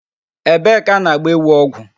Ebee ka a na-gba ewu ọgwụ?